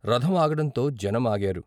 రథం ఆగటంతో జనం ఆగారు.